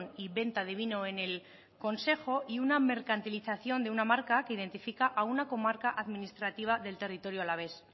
y venta de vino en el consejo y una mercantilización de una marca que identifica a una comarca administrativa del territorio alavés